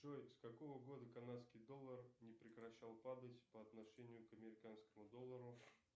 джой с какого года канадский доллар не прекращал падать по отношению к американскому доллару